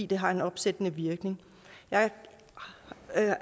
det har opsættende virkning jeg